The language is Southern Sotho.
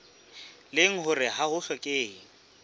leng hore ha ho hlokehe